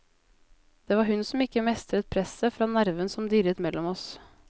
Det var hun som ikke mestret presset fra nerven som dirret mellom oss.